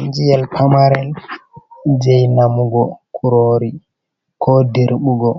Injiyel pamaren jei namugo, kurori, ko dirɓugo,